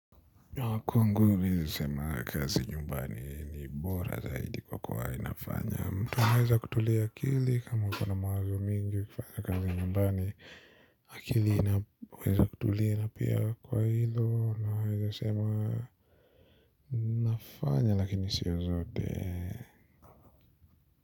Kwangu mimi naweza sema kazi nyumbani ni bora zaidi kwa kuwa inafanya mtu anaweza kutulia akili kama uko na mawazo mingi kufanya kazi nyumbani. Akili inaweza kutulia na pia kwa hilo naweza sema. Inafanya lakini sio zote.